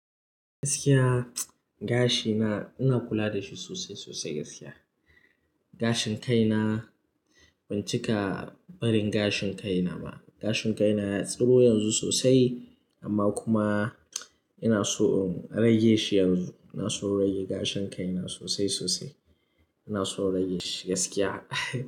Gaskiya gashi na ina kula da shi sosai sosai gaskiya. Gashin kai na, bancika barin gashin kai na ba. Gashin kai na ya tsiro yanzu sosai amma kuma ina so in rage shi yanzu. Ina so in rage gashin kai na sosai sosai. Ina son in rage shi gaskiya.